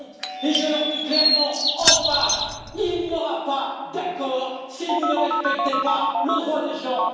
Et je leur dis clairement en face il n'y aura pas d'accord si vous ne respectez pas le droit des gens